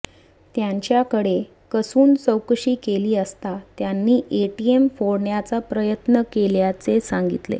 त्यांच्याकडे कसून चौकशी केली असता त्यांनी एटीएम फोडण्याचा प्रयत्न केल्याचे सांगितले